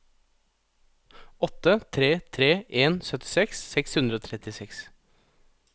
åtte tre tre en syttiseks seks hundre og trettiseks